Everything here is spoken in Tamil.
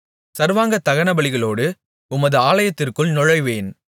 சர்வாங்க தகனபலிகளோடு உமது ஆலயத்திற்குள் நுழைவேன்